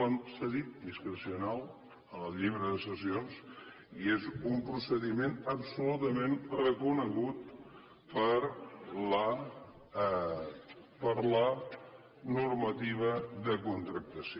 s’ha dit discrecional en el llibre de sessions i és un procediment absolutament reconegut per la normativa de contractació